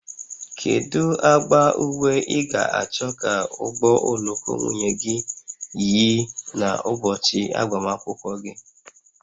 Kedu agba uwe ị ga-achọ ka ụgbọ oloko nwunye gị yi n'ụbọchị agbamakwụkwọ gị?